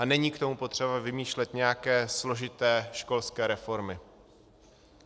A není k tomu potřeba vymýšlet nějaké složité školské reformy.